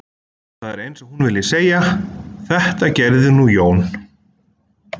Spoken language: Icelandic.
Það er eins og hún vilji segja: Þetta gerði nú Jón